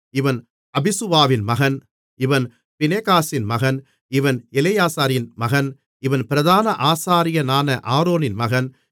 இவன் அபிசுவாவின் மகன் இவன் பினெகாசின் மகன் இவன் எலெயாசாரின் மகன் இவன் பிரதான ஆசாரியனான ஆரோனின் மகன்